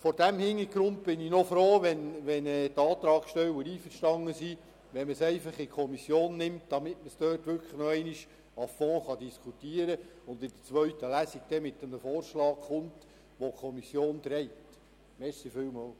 Vor diesem Hintergrund bin ich froh, wenn die Antragsteller einverstanden sind, das Thema in die Kommission zu nehmen, damit man es dort noch einmal à fond diskutieren und in der zweiten Lesung einen Vorschlag bringen kann, der von der Kommission getragen wird.